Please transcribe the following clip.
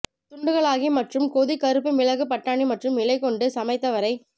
துண்டுகளாக்கி மற்றும் கொதி கருப்பு மிளகு பட்டாணி மற்றும் இலை கொண்டு சமைத்த வரை